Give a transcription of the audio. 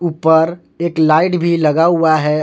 ऊपर एक लाइट भी लगा हुआ है।